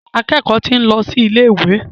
Akẹ́kọ̀ọ́ ti ń lọ sí ilé ìwé.